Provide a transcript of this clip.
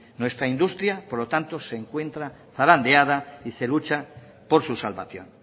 nuestra industria por lo tanto se encuentra zarandeada y se lucha por su salvación